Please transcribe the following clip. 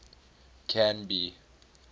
canby